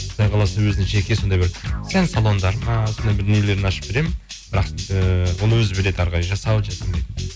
құдай қаласа өзінің жеке сондай бір сән салондары ма бір дүниелерін ашып беремін бірақ ыыы оны өзі біледі әрі қарай жасау жасамайтынын